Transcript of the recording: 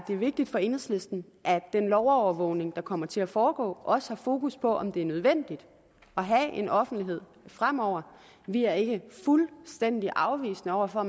vigtigt for enhedslisten at den lovovervågning der kommer til at foregå også har fokus på om det er nødvendigt at have en offentlighed fremover vi er ikke fuldstændig afvisende over for at